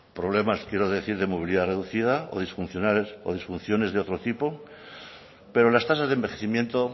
problemas quiero decir de movilidad reducida o disfunciones de otro tipo pero las tasas de envejecimiento